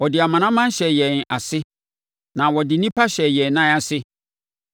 Ɔde amanaman hyɛɛ yɛn ase, na ɔde nnipa hyɛɛ yɛn nan ase.